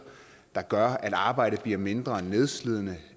der gør at arbejdet bliver mindre nedslidende